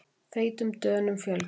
Feitum Dönum fjölgar